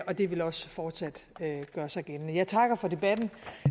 det vil også fortsat gøre sig gældende jeg takker for debatten